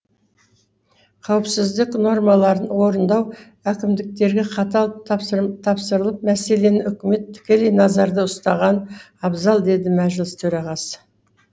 қауіпсіздік нормаларын орындау әкімдіктерге қатал тапсырылып мәселені үкімет тікелей назарда ұстаған абзал деді мәжіліс төрағасы